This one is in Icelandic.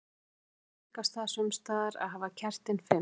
Hins vegar tíðkast það sums staðar að hafa kertin fimm.